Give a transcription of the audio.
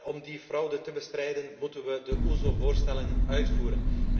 Om die fraude te bestrijden, moeten we de OESO voorstellen uitvoeren.